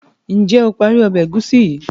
njé o parí Ọbẹ̀ egusi yi?